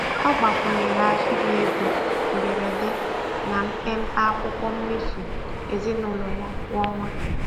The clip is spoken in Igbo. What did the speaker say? Ọ gbakwunyere ahịrị ego mberede na mpempe akwụkwọ mmefu ezinụlọ ya kwa ọnwa.